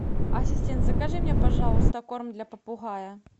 ассистент закажи мне пожалуйста корм для попугая